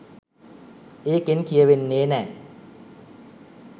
ඒකෙන් කියවෙන්නේ නෑ